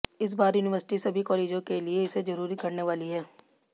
इस बार यूनिवर्सिटी सभी कॉलेजों के लिए इसे जरूरी करने वाली है